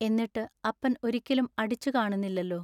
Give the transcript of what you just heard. എന്നിട്ടു അപ്പൻ ഒരിക്കലും അടിച്ചു കാണുന്നില്ലല്ലൊ.